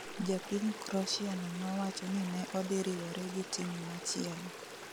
Japiny kroshia no nowacho ni ne odhi riwore gi team machielo